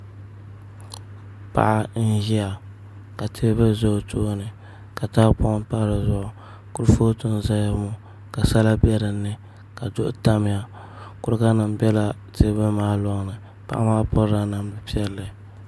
Paɣa n ʒiya ka teebuli ʒɛ o tooni ka tahapoŋ pa dizuɣu kurifooti n ʒɛya ŋo di galisiya ka sala bɛ dinni ka duɣu tamya kuriga nim biɛla teebuli maa loŋni paɣa maa pirila namdi piɛlli